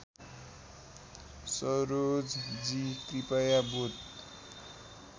सरोजजी कृपया बोट